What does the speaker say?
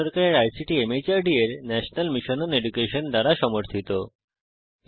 এটি ভারত সরকারের আইসিটি মাহর্দ এর ন্যাশনাল মিশন ওন এডুকেশন দ্বারা সমর্থিত